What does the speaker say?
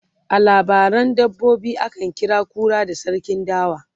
a labaran dabbobi akan kira kura da sarkin dawa